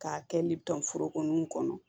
K'a kɛ liberow kɔnɔ